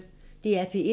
DR P1